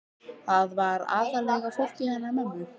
Þarna var aðallega fólkið hennar mömmu.